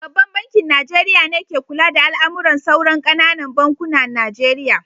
Babban bankin Nijeriya ne ka kula da al'amuran sauran ƙananan bankunan Najeriya